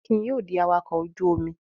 Akin yóò di awakọ̀ ojú-omi!